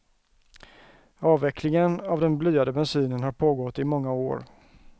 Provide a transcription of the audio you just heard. Avvecklingen av den blyade bensinen har pågått i många år.